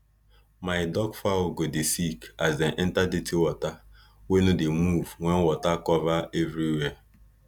my duck fowl go dey sick as dem enter dirty water wey no dey move wen water cover everywhere